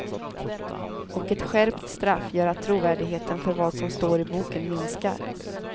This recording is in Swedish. Och ett skärpt straff gör att trovärdigheten för vad som står i boken minskar.